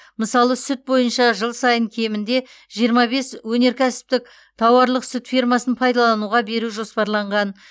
мысалы сүт бойынша жыл сайын кемінде жиырма бес өнеркәсіптік тауарлық сүт фермасын пайдалануға беру жоспарланған